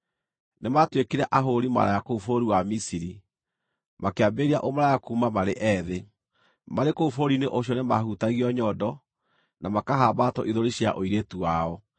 Nĩmatuĩkire ahũũri maraya kũu bũrũri wa Misiri, makĩambĩrĩria ũmaraya kuuma marĩ ethĩ. Marĩ kũu bũrũri-inĩ ũcio nĩmahutagio nyondo, na makahambatwo ithũri cia ũirĩtu wao.